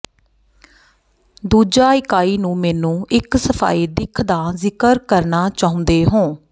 ਦੂਜਾ ਇਕਾਈ ਨੂੰ ਮੈਨੂੰ ਇੱਕ ਸਫ਼ਾਈ ਦਿੱਖ ਦਾ ਜ਼ਿਕਰ ਕਰਨਾ ਚਾਹੁੰਦੇ ਹੋ